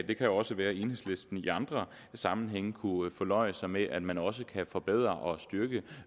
det kan jo også være enhedslisten i andre sammenhænge kunne fornøje sig med at man også kan forbedre og styrke